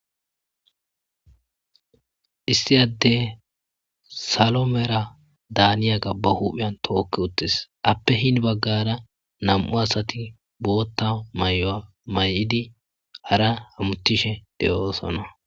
Issi addey salo Mera daaniyaga ba huuphiyan tookki uttis ape hini baggara nam7u asati bootta mayuwa mayidi hara hamuttishe de7oosona.